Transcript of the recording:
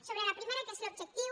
sobre la primera què és l’objectiu